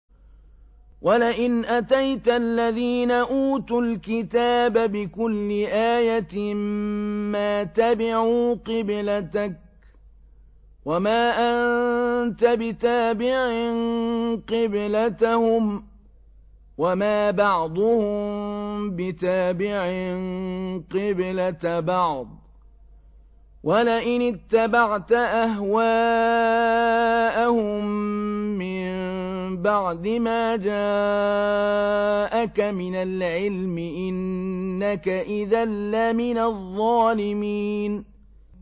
وَلَئِنْ أَتَيْتَ الَّذِينَ أُوتُوا الْكِتَابَ بِكُلِّ آيَةٍ مَّا تَبِعُوا قِبْلَتَكَ ۚ وَمَا أَنتَ بِتَابِعٍ قِبْلَتَهُمْ ۚ وَمَا بَعْضُهُم بِتَابِعٍ قِبْلَةَ بَعْضٍ ۚ وَلَئِنِ اتَّبَعْتَ أَهْوَاءَهُم مِّن بَعْدِ مَا جَاءَكَ مِنَ الْعِلْمِ ۙ إِنَّكَ إِذًا لَّمِنَ الظَّالِمِينَ